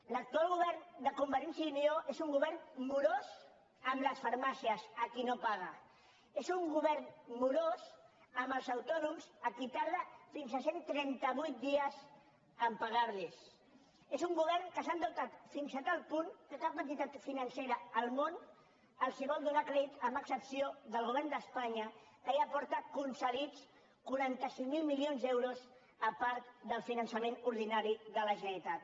l’actual govern de convergència i unió és un govern morós amb les farmàcies a qui no paga és un govern morós amb els autònoms a qui tarda fins a cent i trenta vuit dies a pagarlos és un govern que s’ha endeutat fins a tal punt que cap entitat financera al món els vol donar crèdit amb excepció del govern d’espanya que ja porta concedits quaranta cinc mil milions d’euros a part del finançament ordinari de la generalitat